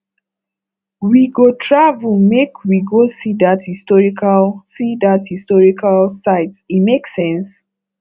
we go travel make we go see dat historical see dat historical site e make sense